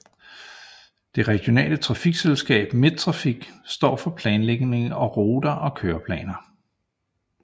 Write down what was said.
Det regionale trafikselskab Midttrafik står for planlægning af ruter og køreplaner